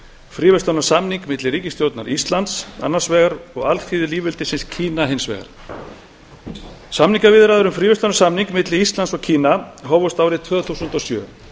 fríverslunarsamning milli ríkisstjórnar íslands annars vegar og alþýðulýðveldisins kína hins vegar samningaviðræður um fríverslunarsamning milli íslands og kína hófust ári tvö þúsund og sjö